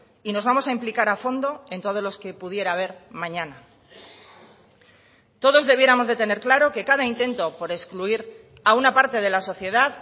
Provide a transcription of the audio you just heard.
y nos vamos a implicar a fondo en todos los que pudiera a ver mañana todos debiéramos de tener claro que cada intento por excluir a una parte de la sociedad